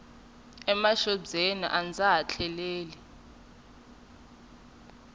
emaxobyeni a ndza ha tleleli